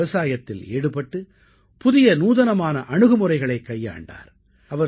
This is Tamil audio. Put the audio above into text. அவர் விவசாயத்தில் ஈடுபட்டு புதிய நூதனமான அணுகுமுறைகளைக் கைக்கொண்டார்